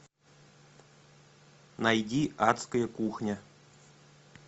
найди адская кухня